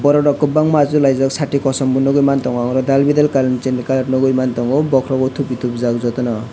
borok bo kwbangma achuk laijak sati kosom bo nugui mantogo oro Daal brdal nugui mantogo tupi tuijak jotono.